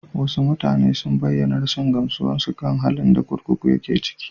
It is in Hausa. Wasu mutane sun bayyana rashin gamsuwarsu kan halin da kurkukun yake ciki.